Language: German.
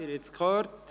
Sie haben es gehört.